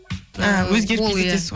а өзгеріп кетеді дейсіз